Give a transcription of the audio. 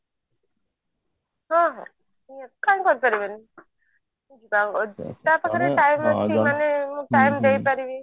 ହଁ ହଁ ନିହାତି କାଇଁ କରି ପାରିବନି time ଦେଇପାରିବି